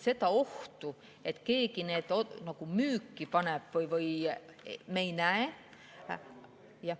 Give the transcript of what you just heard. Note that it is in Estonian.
Seda ohtu, et keegi need müüki paneb, me ei näe.